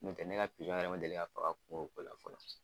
Nɔtɛ ne ka pizɔn yɛrɛ ma deli ka faga kungokola fɔlɔ.